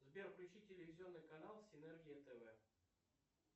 сбер включи телевизионный канал синергия тв